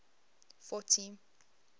fourty